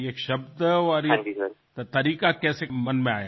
ये शब्द ये तरीका कैसे मन में आया